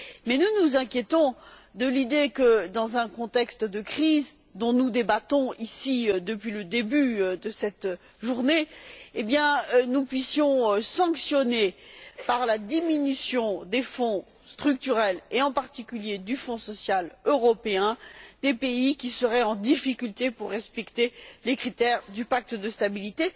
Mais nous nous inquiétons à l'idée que, dans un contexte de crise, dont nous débattons ici depuis le début de cette journée, nous puissions sanctionner, par la diminution des Fonds structurels, et en particulier du Fonds social européen, des pays qui seraient en difficulté pour respecter les critères du pacte de stabilité.